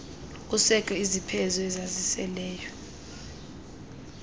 kusekho izipheze ezisaseleyo